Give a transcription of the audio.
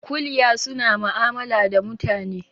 Kuliya suna ma'amala da mutane